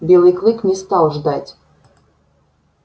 белый клык не стал ждать